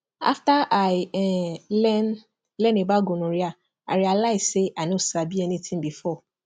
after i um learn learn about gonorrhea i realize say i no sabi anything before